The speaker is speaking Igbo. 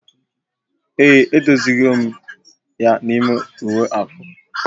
Ee, e dozi go m ya n'ime uwe akwa